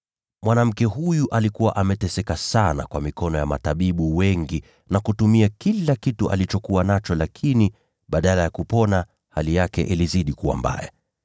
Mwanamke huyu alikuwa ameteseka sana kwa mikono ya matabibu wengi, na kutumia kila kitu alichokuwa nacho. Lakini badala ya kupona, hali yake ilizidi kuwa mbaya.